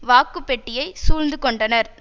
வாக்குப்பெட்டியை சூழ்ந்து கொண்டனர்